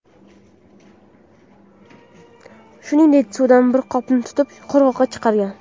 Shuningdek, suvdan bir qopni tutib, qirg‘oqqa chiqargan.